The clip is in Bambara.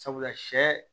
Sabula sɛ